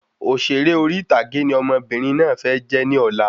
Òṣèré orí ìtàgé ni ọmọbìnrin náà fẹ́ jẹ ní ọ̀la